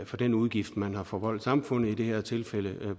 for den udgift man har forvoldt samfundet i det her tilfælde